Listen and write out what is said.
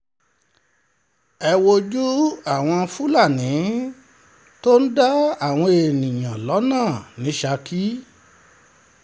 ẹ wojú àwọn um fúlàní tó ń dá àwọn èèyàn lọ́nà ní um ṣákì